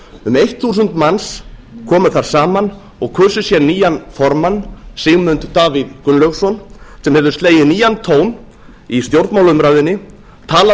um eitt þúsund manns komu þar saman og kusu sér nýjan formann sigmund davíð gunnlaugsson sem hefur slegið nýjan tón í stjórnmálaumræðunni talað